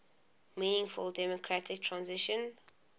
meaningful democratic transition